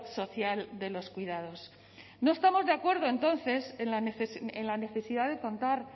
social de los cuidados no estamos de acuerdo entonces en la necesidad de contar